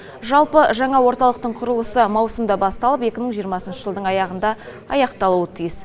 жалпы жаңа орталықтың құрылысы маусымда басталып екі мың жиырмасыншы жылдың аяғында аяқталуы тиіс